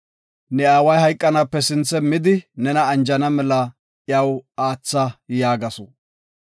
Ne aaway hayqanaape sinthe midi nena anjana mela iyaw aatha” yaagasu.